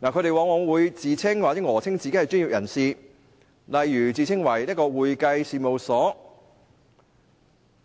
他們往往自稱或訛稱自己是專業人士，例如自稱為會計事務所，